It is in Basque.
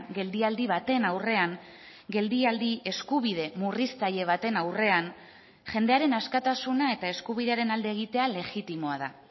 geldialdi baten aurrean geldialdi eskubide murriztaile baten aurrean jendearen askatasuna eta eskubidearen alde egitea legitimoa da